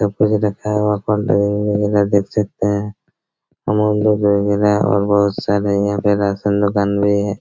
सब कुछ दिखाया हुआ देख सकते हैं बहुत सारे यहाँ पे राशन दुकान भी हैं।